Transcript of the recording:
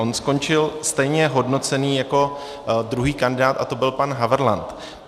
On skončil stejně hodnocený jako druhý kandidát a to byl pan Havrlant.